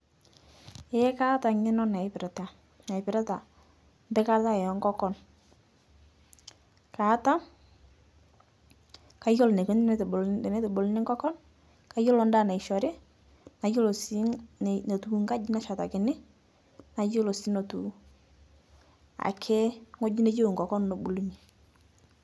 Eeeh kaata ng'eno naaipirita naipirita mpikata e nkokon, kaata, kayulo neikoni tenetubul tenebuluni nkokon, kayolo ndaa naishori, nayolo sii ne netiu nkaji nashetaki, nayelo sii netiu ake ng'oji neyeu nkokon nebulunye.